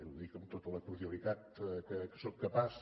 ho dic amb tota la cordialitat de què sóc capaç